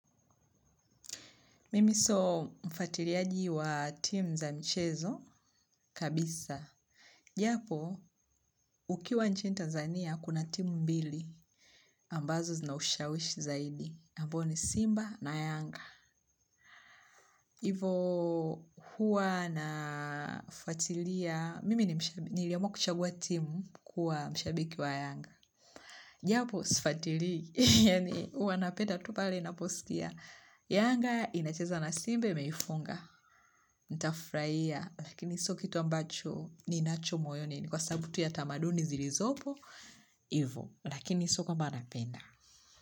Mimi sio mfatiliaji wa tim za mchezo kabisa. Japo, ukiwa nchini Tanzania, kuna timu mbili. Ambazo zinaushawishi zaidi. Ambao ni Simba na Yanga. Ivo huwa na fatilia. Mimi ni mshabiki. Niliamua kuchagua timu kuwa mshabiki wa Yanga. Japo, sifatilii. Yani, huwa na penda tupale na posikia. Yanga inacheza na Simbe imeifunga. Nitafurahia. Lakini so kitu ambacho ninacho moyoni ni kwa sababu tu ya tamaduni zilizopo. Hivo lakini so kwa napenda.